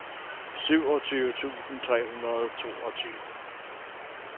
syvogtyve tusind tre hundrede og toogtyve